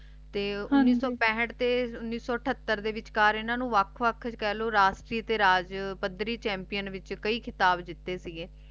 ਤੇ ਉਨੀਸ ਸੋ ਪੈਂਠ ਤੇ ਉਨੀਸ ਸੋ ਤ੍ਹਤਾਰ ਦੇ ਵਿਚ ਇਨ੍ਹਾਂ ਨੂੰ ਵੱਖ ਵੱਖ ਜੀ ਕਹਿ ਲੋ ਰਾਜ ਸ਼੍ਰੀ ਤੇ ਰਾਜ ਪਾਦਰੀ Champion ਦੇ ਵਿਚ ਕਹਿਣ ਖਿਤਾਬ ਦਿੱਤੇ ਸੀ ਗਏ